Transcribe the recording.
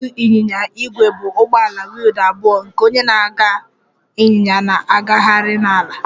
Otu ịnyịnya ígwè bụ ụgbọala wheeled abụọ nke onye na-agba ịnyịnya na-agagharị n'ala